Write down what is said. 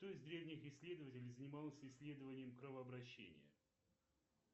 кто из древних исследователей занимался исследованием кровообращения